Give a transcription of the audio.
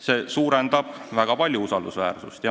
See suurendab väga palju usaldusväärsust.